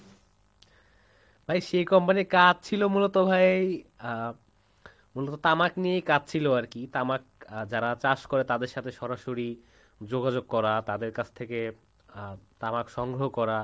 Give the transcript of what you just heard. ভাই সে company র কাজ ছিল মূলত ভাই আহ মূলত তামাক নিয়েই কাজ ছিল আরকি তামাক যারা চাষ করে তাদের সাথে সরাসরি যোগাযোগ করা তাদের কাছ থেকে আহ তামাক সংগ্রহ করা।